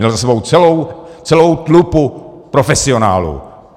Měl za sebou celou tlupu profesionálů.